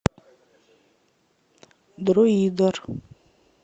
друидер